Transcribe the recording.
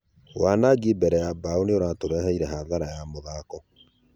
"Wanagi mbere ya bao nĩiratũreheire hathara ya muthako.